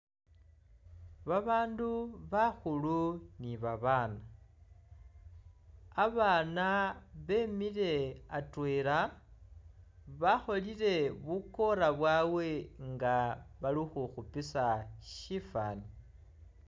Babandu bakhulu ni babaana, abaana bemile atwela, bakholile bukora bwabwe nga bali khukhupisa shifani